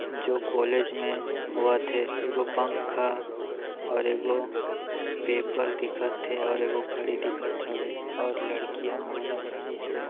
जो कोलेज मे होवत हे एगो पंखा और एगो पेपर दिखत है और एगो घड़ी दिखत हवे और लड़की हा माला पहनिस हे।